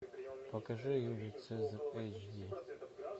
покажи юлий цезарь эйч ди